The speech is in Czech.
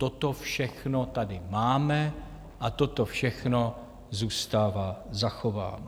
Toto všechno tady máme a toto všechno zůstává zachováno.